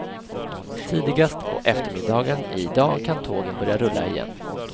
Tidigast på eftermiddagen i dag kan tågen börja rulla igen.